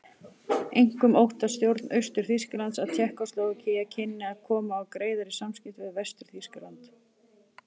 Einkum óttaðist stjórn Austur-Þýskalands að Tékkóslóvakía kynni að koma á greiðari samskiptum við Vestur-Þýskaland.